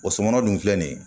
O sɔmɔnɔ dun filɛ nin ye